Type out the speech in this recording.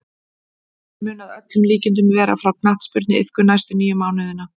Hann mun að öllum líkindum vera frá knattspyrnuiðkun næstu níu mánuðina.